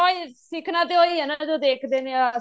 ਉਹੀ ਬੱਚੇ ਨੇ ਸਿੱਖਣਾ ਤੇ ਉਹੀ ਹੈ ਨਾ ਜੋ ਦੇਖਦੇ ਨੇ